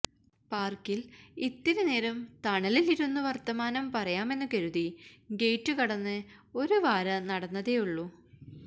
പാർക്കിൽ ഇത്തിരിനേരം തണലിലിരുന്ന് വർത്തമാനം പറയാമെന്നു കരുതി ഗേറ്റുകടന്ന് ഒരു വാര നടന്നതേയുളളൂ